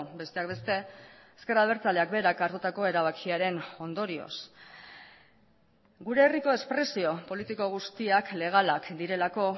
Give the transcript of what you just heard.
besteak beste ezker abertzaleak berak hartutako erabakiaren ondorioz gure herriko espresio politiko guztiak legalak direlako